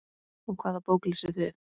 Og hvaða bók lesið þið?